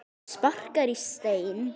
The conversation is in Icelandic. Hún sparkar í stein.